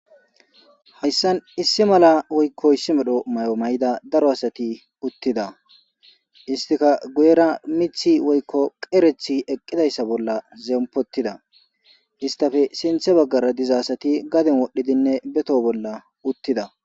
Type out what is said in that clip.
Hayssan issi mala woyko issi medho mayo mayida daro adati eqida issi kasseka ichidi diza mitha bolla zemppotida isttape sinththe baggara diza asati gaden wodhidi ba toho bolla uttida.